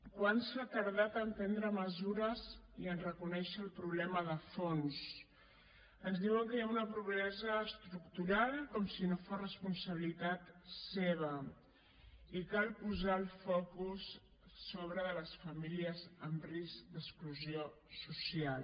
quant s’ha tardat a prendre mesures i a reconèixer el problema de fons ens diuen que hi ha una pobresa estructural com si no fos responsabilitat seva i cal posar el focus sobre les famílies en risc d’exclusió social